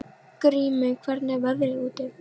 Grímey, hvernig er veðrið úti?